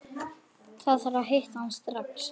Þarf að hitta hann strax.